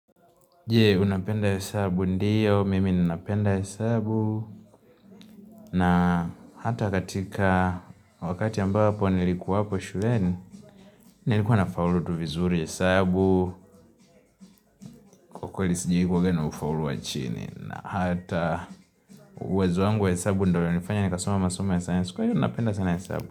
Je? Unapenda hesabu, ndiyo, mimi ninapenda hesabu, na hata katika wakati ambapo nilikuwa hapo shuleni Nilikuwa nafaulu tu vizuri, hesabu, kwa kweli sijui kuongea na ufaulu wa chini, na hata uwezo wangu wa hesabu ndio inanifanya nikasoma masomo ya sayansi, kwa hiyo napenda sana hesabu.